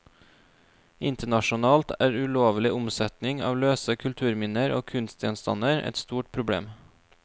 Internasjonalt er ulovlig omsetning av løse kulturminner og kunstgjenstander et stort problem.